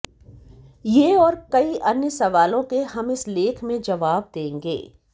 ये और कई अन्य सवालों के हम इस लेख में जवाब देंगे